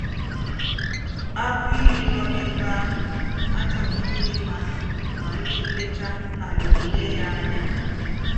Ágụ́ íyí nọ̀ èbè àhù àchọ̀ghídí ímá mà ndí́ ńlétà hà nà-èlé yá ànyá.